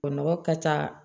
Nɔgɔ ka ca